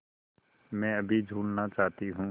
मैं अभी झूलना चाहती हूँ